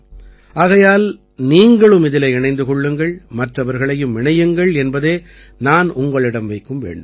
ஆகையால் நீங்களும் இதிலே இணைந்து கொள்ளுங்கள் மற்றவர்களையும் இணையுங்கள் என்பதே நான் உங்களிடம் வைக்கும் வேண்டுகோள்